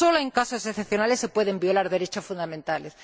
Solo en casos excepcionales se pueden violar derechos fundamentales.